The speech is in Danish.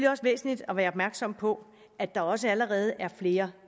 også væsentligt at være opmærksom på at der også allerede er flere